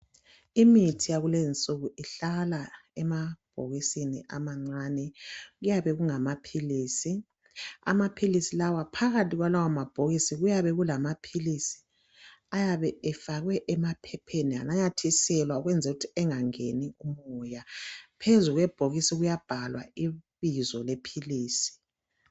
Imithi yakulezi nsuku ihlala emabhokisini amancane . Kuyabe kungamaphilisi. Amaphilisi lawa phakathi kwalawa mabhokisi kuyabe kulamaphilisi ayabe efakwe emaphepheni ananyathiselwa ukwenzelu kuthi angangeni umoya . Phezu kwebhokisi kuyabhalwa ibizo lephilisi.